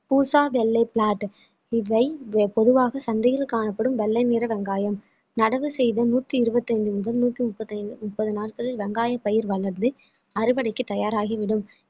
பூசா வெள்ளை plot இவை பொதுவாக சந்தையில் காணப்படும் வெள்ளை நிற வெங்காயம் நடவு செய்து நூத்தி இருபத்தி ஐந்து முதல் நூத்தி முப்பத்தி ஐந்து நாட்களில் வெங்காய பயிர் வளர்ந்து அறுவடைக்கு தயாராகிவிடும்